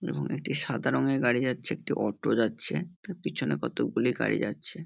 দূরে একটি সাদা রঙের গাড়ি যাচ্ছে। একটি অটো যাচ্ছে তা পিছনে কতকগুলি গাড়ি যাচ্ছে।